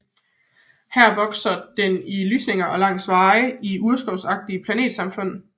Her vokser den i lysninger og langs veje i urskovsagtige planetsamfund